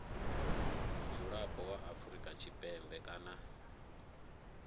mudzulapo wa afrika tshipembe kana